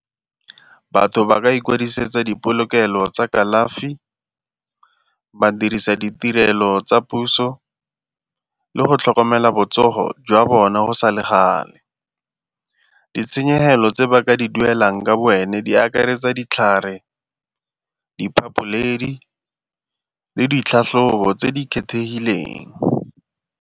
Batho ba ka ikwadisetsa dipolokelo tsa kalafi, ba dirisa ditirelo tsa puso le go tlhokomela botsogo jwa bone go sa le gale. Ditshenyegelo tse ba ka di duelang ka bo wena di akaretsa ditlhare di le ditlhatlhobo tse di kgethegileng.